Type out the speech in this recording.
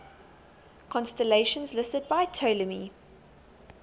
constellations listed by ptolemy